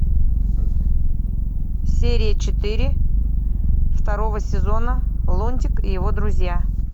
серия четыре второго сезона лунтик и его друзья